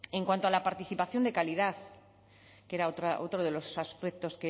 en cuanto a la participación de calidad que era otro de los aspectos